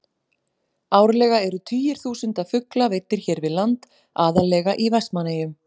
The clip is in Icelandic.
Árlega eru tugir þúsunda fugla veiddir hér við land, aðallega í Vestmannaeyjum.